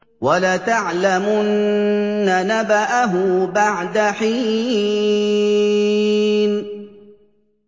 وَلَتَعْلَمُنَّ نَبَأَهُ بَعْدَ حِينٍ